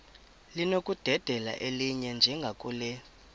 linokudedela elinye njengakule